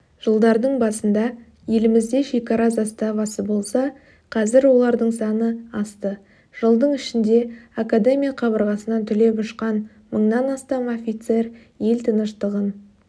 жылдардың басында елімізде шекара заставасы болса қазір олардың саны асты жылдың ішінде академия қабырғасынан түлеп ұшқан мыңнан астам офицер ел тыныштығын